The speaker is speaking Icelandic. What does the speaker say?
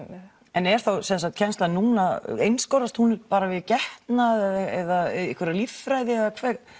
en er þá kennslan núna einskorðast hún bara við getnað eða einhverja líffræði eða